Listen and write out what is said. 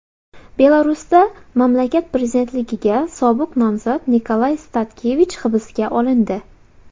Belarusda mamlakat prezidentligiga sobiq nomzod Nikolay Statkevich hibsga olindi.